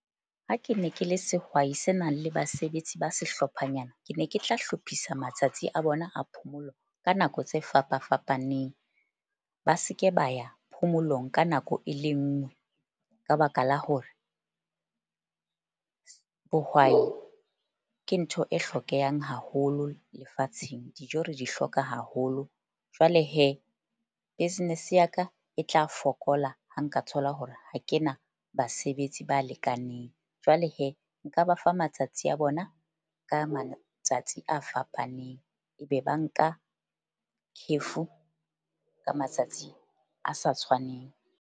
Ha ke ne ke le sehwai se nang le basebetsi ba sehlophanyana, ke ne ke tla hlophisa matsatsi a bona a phomolo ka nako tse fapa fapaneng. Ba seke ba ya phomolong ka nako e le nngwe, ka baka la hore bohwai ke ntho e hlokehang haholo lefatsheng dijo re di hloka haholo. Jwale business ya ka e tla fokola. Ha nka thola hore ha kena basebetsi ba lekaneng jwale nka ba fa matsatsi a bona ka matsatsi a fapaneng, ebe ba nka kgefu ka matsatsi a sa tshwaneng.